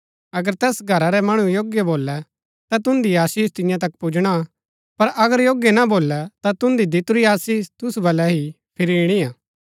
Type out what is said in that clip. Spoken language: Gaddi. अगर तैस घरा रै मणु योग्य भोलै ता तुन्दी आशीष तियां तक पुजणा पर अगर योग्य ना भोलै ता तुन्दी दितुरी आशीष तुसु बलै ही फिरी ईणिआ